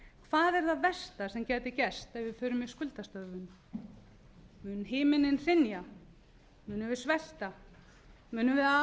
hvað er það versta sem gæti gerst ef við förum í skuldastöðvun mun himininn hrynja munum við svelta munum við